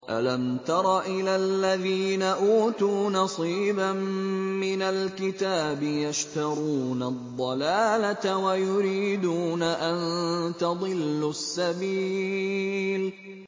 أَلَمْ تَرَ إِلَى الَّذِينَ أُوتُوا نَصِيبًا مِّنَ الْكِتَابِ يَشْتَرُونَ الضَّلَالَةَ وَيُرِيدُونَ أَن تَضِلُّوا السَّبِيلَ